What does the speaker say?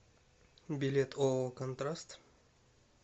билет ооо контраст